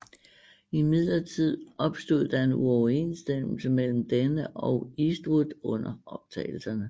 Imidlertid opstod der uoverensstemmelser mellem denne og Eastwood under optagelserne